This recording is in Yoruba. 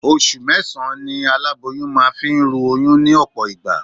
Oṣù mẹ́sàn-án ni aláboyún máa fi ń ru oyún ní ọ̀pọ̀ ìgbà